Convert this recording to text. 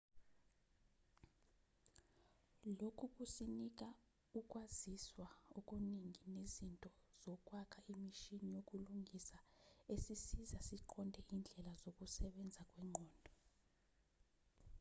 lokhu kusinika ukwaziswa okuningi nezinto zokwakha imishini yokulingisa esisiza siqonde indlela zokusebenza kwengqondo